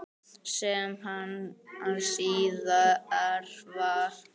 Sem hann síðar varð.